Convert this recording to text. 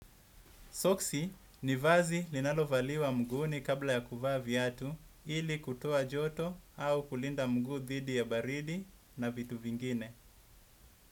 Soksi ni vazi linalovaliwa mguuni kabla ya kuvaa viatu ili kutoa joto au kulinda mguu dhidi ya baridi na vitu vingine.